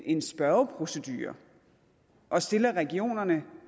en spørgeprocedure og stiller regionerne